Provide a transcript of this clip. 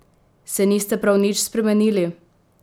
Se niste prav nič spremenili?